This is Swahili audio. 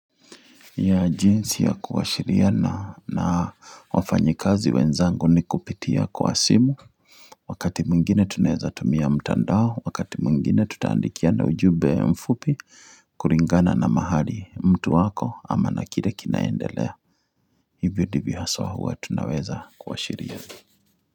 Ya jinsi ya kuwashiriana na wafanyikazi wenzangu ni kupitia kwa simu Wakati mwngine tunaweza tumia mtandao Wakati mwngine tutaandikiana ujumbe mfupi kulingana na mahali mtu wako ama na kile kinaendelea Hivyo ndivyo haswa huwa tunaweza kuwashiriana.